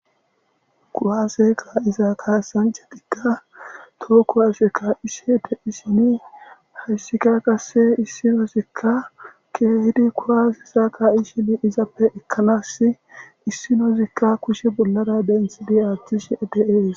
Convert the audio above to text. Kuwase ka'iza kasanchatika toho kuwase ka'ishe de'ishini haysika qase issinozika keehidi kuwaseza ka'ishe izappe ekanasi issinozika kushe bollara denthidi athishe de'es.